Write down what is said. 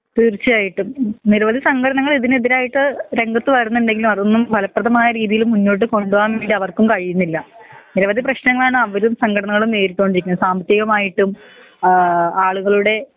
തീർച്ചായിട്ടും നിരവധി സംഘടനകൾ ഇതിന് എതിരായിട്ട് രംഗത്ത് വരുന്നുണ്ടെങ്കിലും അതൊന്നും ഫലപ്രഥമായ രീതീല് മുന്നോട്ട് കൊണ്ടോവാൻ വേണ്ടി അവർക്കും കഴിയുന്നില്ല നിരവധി പ്രേശ്നങ്ങളാണ് അവരും സഘടനകളും നേരിട്ടൊണ്ടിരിക്കുന്നത് സാമ്പത്തികമായിട്ടും ഏഹ് ആളുകളുടെ